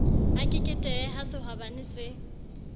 a keketehe ha sehwabane se